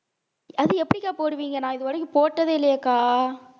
அது எப்படிக்கா போடுவீங்க நான் இதுவரைக்கும் போட்டதே இல்லையேக்கா